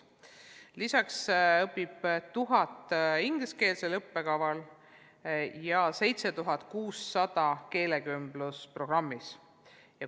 Lisaks õpib 1000 õpilast ingliskeelse õppekava alusel ja 7600 keelekümblusprogrammi alusel.